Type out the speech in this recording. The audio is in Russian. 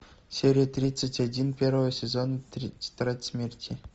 серия тридцать один первого сезона тетрадь смерти